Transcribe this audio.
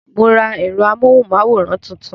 Mo ra èrò amóhùn máwòrán tuntun